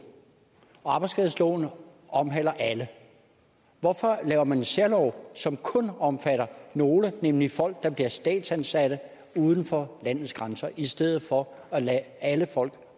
og arbejdsskadeloven omhandler alle hvorfor laver man en særlov som kun omfatter nogle nemlig folk der bliver statsansatte uden for landets grænser i stedet for at lade alle folk